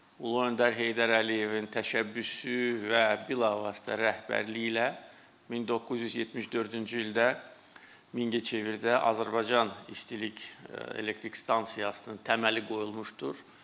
Ulu öndər Heydər Əliyevin təşəbbüsü və bilavasitə rəhbərliyi ilə 1974-cü ildə Mingəçevirdə Azərbaycan İstilik Elektrik Stansiyasının təməli qoyulmuşdur.